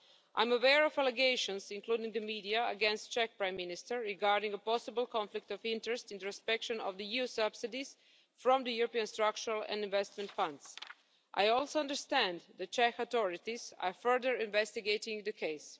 I am aware of allegations, including in the media, against the Czech Prime Minister regarding a possible conflict of interest in respect of EU subsidies from the European Structural and Investment funds. I also understand that the Czech authorities are further investigating the case.